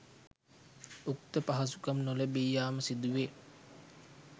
උක්ත පහසුකම් නොලැබී යාම සිදුවේ.